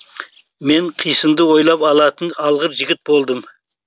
мен қисынды ойлап алатын алғыр жігіт болдым